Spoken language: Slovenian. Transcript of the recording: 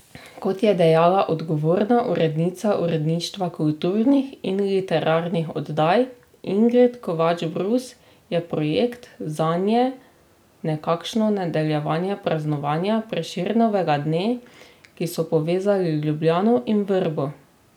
Kot je dejala odgovorna urednica uredništva kulturnih in literarnih oddaj Ingrid Kovač Brus, je projekt zanje nekakšno nadaljevanje praznovanja Prešernovega dne, ko so povezali Ljubljano in Vrbo.